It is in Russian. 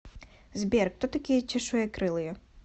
сбер кто такие чешуекрылые